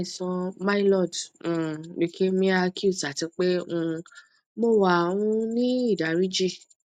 mo ni aisan myloid um lukeamia accute ati pe um mo wa um ni idariji